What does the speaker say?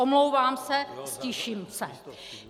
Omlouvám se, ztiším se.